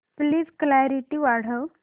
please clarity वाढव